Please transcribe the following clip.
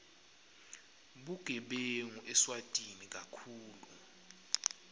bugebengu eswatini kakhulu